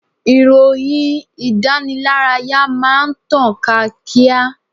Ìròyìn ìdánilárayá máa ń tàn ká kíá.